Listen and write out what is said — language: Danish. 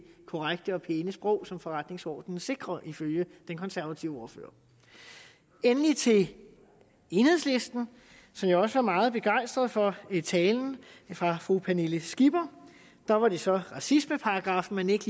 korrekte og pæne sprog som forretningsordenen sikrer ifølge den konservative ordfører endelig til enhedslisten jeg var også meget begejstret for talen fra fru pernille skipper der var det så racismeparagraffen man ikke